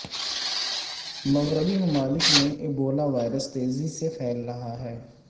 مغربی ممالک میں ایبولا وائرس تیزی سے پھیل رہا ہے